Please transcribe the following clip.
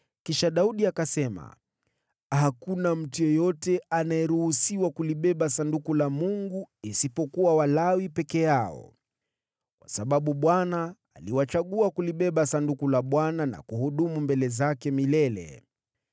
Kisha Daudi akasema, “Hakuna mtu yeyote anayeruhusiwa kulibeba Sanduku la Mungu isipokuwa Walawi peke yao, kwa sababu Bwana aliwachagua kulibeba Sanduku la Bwana na kuhudumu mbele zake milele.”